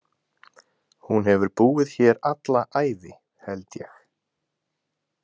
Hún hefur búið hér alla ævi, held ég.